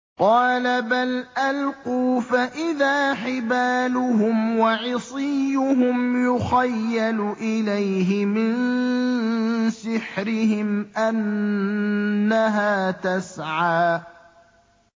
قَالَ بَلْ أَلْقُوا ۖ فَإِذَا حِبَالُهُمْ وَعِصِيُّهُمْ يُخَيَّلُ إِلَيْهِ مِن سِحْرِهِمْ أَنَّهَا تَسْعَىٰ